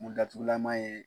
Mun datugulama ye